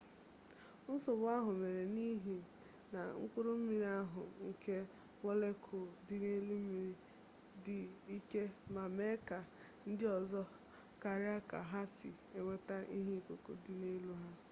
nsogbu ahụ mere n'ihi na mkpụrụ mmiri ahụ nke mọlekul dị n'elu mmiri dị ike ma mee ka ndịọzọ karịa ka ha si enweta ihe ikuku dị n'elu ha